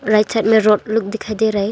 Right side में road लोग दिखाई दे रहा हैं।